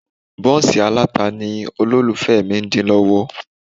Bọ́ǹsì aláta ni olólùfẹ́ mi ń dín lọ́wọ́